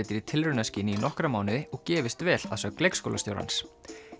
í tilraunaskyni í nokkra mánuði og gefist vel að sögn leikskólastjórans